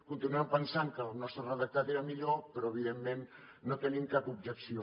continuem pensant que el nostre redactat era millor però evidentment no hi tenim cap objecció